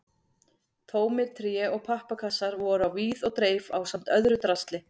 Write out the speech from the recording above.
Tómir tré- og pappakassar voru á víð og dreif ásamt öðru drasli.